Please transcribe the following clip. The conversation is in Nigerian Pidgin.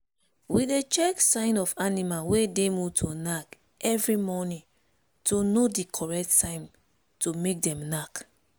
we dey check sign of animal wey dey mood to knack every morning to know the correct time to make them knack.